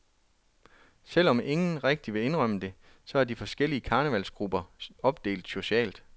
Selv om ingen rigtig vil indrømme det, så er de forskellige karnevalsgrupper opdelt socialt.